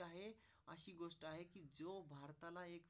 आहे अशी गोष्ट आहे जो भारताला एक.